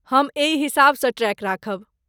हम एहि हिसाबसँ ट्रैक राखब